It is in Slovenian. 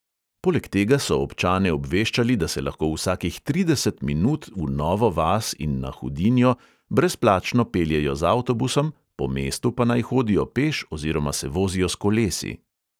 Poleg tega so občane obveščali, da se lahko vsakih trideset minut v novo vas in na hudinjo brezplačno peljejo z avtobusom, po mestu pa naj hodijo peš oziroma se vozijo s kolesi.